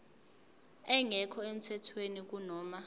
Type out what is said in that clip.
engekho emthethweni kunoma